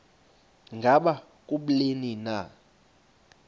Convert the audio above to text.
ngaba kubleni na